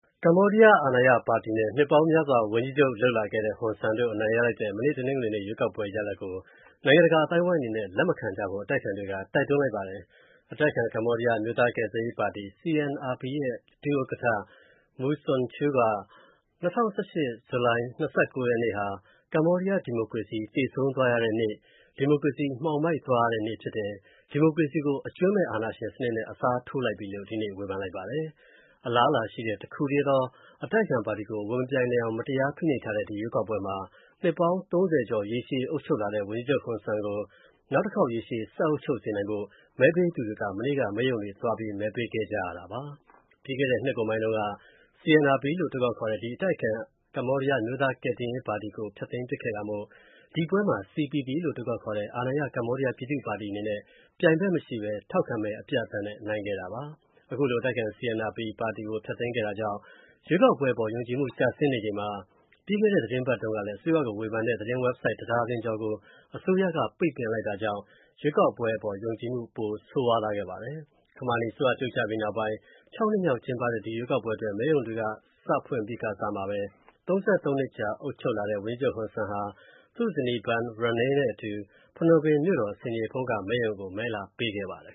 ကမ္ဘောဒီးယား အာဏာရပါတီနဲ့ နှစ်ပေါင်းများစွာ ဝန်ကြီးချုပ်လုပ်လာခဲ့တဲ့ ဟွန်ဆန်းတို့ အနိုင်ရလိုက်တဲ့၊ မနေ့ တနင်္ဂနွေနေ့ ရွေးကောက်ပွဲ ရလဒ်ကို၊ နိုင်ငံတကာအသိုင်းအဝိုင်းအနေနဲ့ လက်မခံကြဖို့ အတိုက်အခံတွေက တိုက်တွန်းလိုက်ပါတယ်။ အတိုက်အခံ ကမ္ဘောဒီးယား အမျိုးသားကယ်ဆယ်ရေးပါတီ CNRP ရဲ့ ဒု ဥက္ကဌ Mu Sochua က၊ ၂၀၁၈ ခုနှစ် ဇူလိုင်လ ၂၉ ရက်နေ့ ဟာ၊ ကမ္ဘောဒီးယား ဒီမိုကရေစီ သေဆုံးသွားရတဲ့နေ့၊ ဒီမိုကရေစီမှောင်မိုက်သွားရတဲ့နေ့ဖြစ်တယ်၊ ဒီမိုကရေစီကို အကြွင်းမဲ့အာဏာရှင်နဲ့ အစားထိုးလိုက်ပြီ်လို့၊ ဒီနေ့ ဝေဖန်လိုက်ပါတယ်။ အလားအလာရှိတဲ့ တစ်ခုတည်းသော အတိုက်အခံပါတီ ဝင်မပြိုင်နိုင်အောင် မတရားဖိနှိပ်ထားတဲ့ ဒီရွေးကောက်ပွဲမှာ၊ နှစ်ပေါင်း ၃၀ ကျော် ရေရှည်အုပ်ချုပ်လာတဲ့ ဝန်ကြီးချုပ် Hun Sen ကို နောက်ထပ်ရေရှည်ဆက်အုပ်ချုပ်စေနိုင်ဖို့၊ မဲပေးသူတွေ မနေ့က မဲရုံတွေသွား မဲပေးခဲ့ကြရတာပါ။ ပြီးခဲ့တဲ့ နှစ်ကုန်ပိုင်းတုန်းက၊ CNRP လို့ အတိုခေါက်ခေါ်တဲ့ ဒီအတိုက်အခံ ကမ္ဘောဒီးယား အမျိုးသားကယ်တယ်ရေးပါတီကို ဖျက်သိမ်းပစ်ခဲတာမို့၊ ဒီပွဲမှာ CPP လို့အတိုခေါက်ခေါ်တဲ့ အာဏာရ ကမ္ဘောဒီးယားပြည်သူ့ပါတီအနေနဲ့၊ ပြိုင်ဖက်မရှိဘဲ ထောက်ခံမဲ အပြတ်အသတ်နဲ့ နိုင်ခဲ့တာပါ။ ခုလို အတိုက်အခံ CNRP ကို ဖျက်သိမ်းခဲ့တာကြောင့် ရွေးကောက်ပွဲအပေါ် ယုံကြည်မှုကျဆင်းနေချိန်မှာ၊ ပြီးခဲ့တဲ့ သတင်းပတ်ကုန်တုံးကလည်း၊ အစိုးရကို ဝေဖန်တဲ့ သတင်းဝက်ဘ်ဆိုဒ် (၁) ဒါဇင်ကျော်ကို အစိုးရက ရုတ်တရက် ပိတ်ပင်လိုက်တာကြောင့် ရွေးကောက်ပွဲ အပေါ် ယုံကြည်မှု ပိုကျဆင်းသွားခဲ့ပါတယ်။ ခမာနီအစိုးရ ပြုတ်ကျပြီးနောက်ပိုင်း ၆ ကြိမ်မြောက် ကျင်းပတဲ့ ဒီရွေးကောက်ပွဲအတွက်၊ မဲရုံတွေ မနေ့က စဖွင့်ပြီးကာစမှာပဲ၊ ၃၃ နှစ်ကြာ အုပ်ချုပ်လာခဲ့တဲ့ ဝန်ကြီးချုပ် Hun Sen ဟာ သူ့ ဇနီး Bun Rany နဲ့အတူ၊ ဖနွမ်ပင်မြို့တော် ဆင်ခြေဖုံးက မဲရုံကို မဲလာပေးခဲ့ပါတယ်